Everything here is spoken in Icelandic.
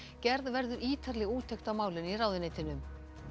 gerð verður ítarleg úttekt á málinu í ráðuneytinu